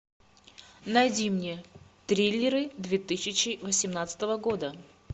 найди мне триллеры две тысячи восемнадцатого года